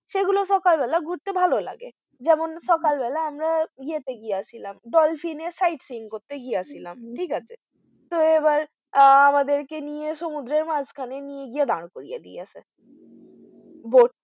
এগুলো সকাল বেলা ঘুরতে ভালো লাগে যেমন সকাল বেলা আমরা ইয়াতে গিয়েছিলাম dolphin এর sight seeing করতে গিয়েছিলাম ঠিকাছে so এবার আমাদের কে নিয়ে সমুদ্রের মাঝখানে নিয়ে গিয়ে দাঁড় করিয়ে দিয়েছে